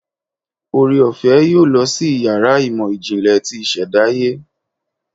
oreofe yóò lọ sí iyàrá ìmọ jinle tí ìsèdáye